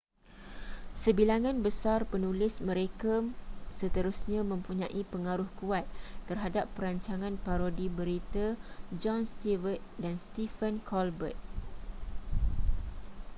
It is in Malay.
sebilangan besar penulis mereka seterusnya mempunyai pengaruh kuat terhadap rancangan parodi berita jon stewart dan stephen colbert